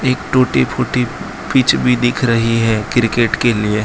एक टूटी फूटी पिच भी दिख रही है क्रिकेट के लिए।